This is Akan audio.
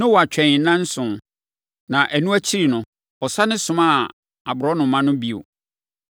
Noa twɛn nnanson, na ɛno akyiri no, ɔsane somaa aborɔnoma no bio.